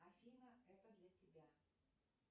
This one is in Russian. афина это для тебя